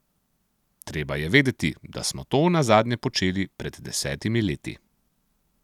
Treba je vedeti, da smo to nazadnje počeli pred desetimi leti.